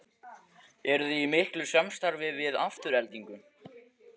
Eruði í miklu samstarfi við Aftureldingu?